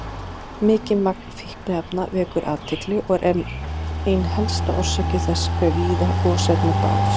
Mikið magn fínefna vekur athygli og er ein helsta orsök þess hve víða gosefnin bárust.